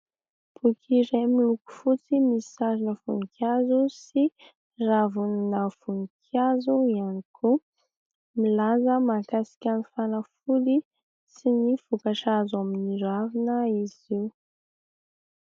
Boky iray miloko fotsy, misy sarina voninkazo sy ravina voninkazo ihany koa. Milaza mahakasika ny fanafody sy ny vokatra azo amin'ny ravina izy io.